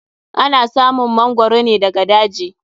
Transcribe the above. Ana samun mangoro ne daga daji.